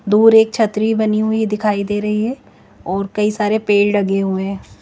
दूर एक छत्री बनी हुई दिखाई दे रही है और कई सारे पेड़ दिखाई दे रहे है।